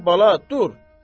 Dur bala, dur.